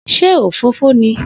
Se òfófó ni?